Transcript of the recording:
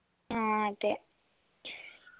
ആ അതെ